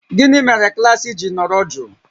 Gịnị mere klaasị ji nọrọ jụụ?